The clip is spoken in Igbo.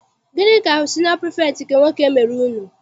Gịnị ka siniọ pirifektị nke nwoke mere unu?